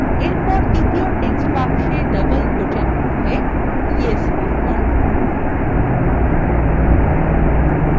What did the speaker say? এরপর দ্বিতীয় text বাক্সে ডাবল quotesএর মধ্যে yes লিখুন